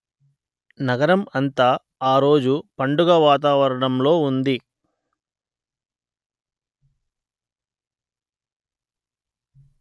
నగరం అంతా ఆ రోజు పండుగ వాతావరణంలో ఉంది